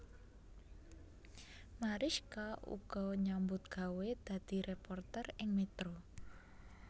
Marischka uga nyambut gawé dadi réporter ing Metro